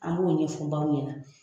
An b'o ɲɛfɔ baw ɲɛna.